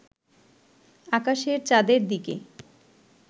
আকাশের চাঁদের দিকে